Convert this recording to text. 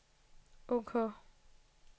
ok